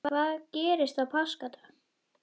Hvað gerðist á páskadag?